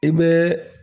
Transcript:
I bɛ